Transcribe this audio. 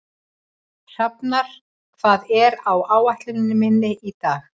Hrafnar, hvað er á áætluninni minni í dag?